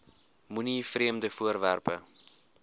moenie vreemde voorwerpe